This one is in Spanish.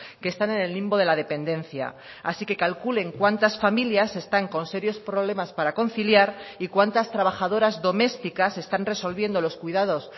que están en el limbo de la dependencia así que calculen cuántas familias están con serios problemas para conciliar y cuantas trabajadoras domésticas están resolviendo los cuidados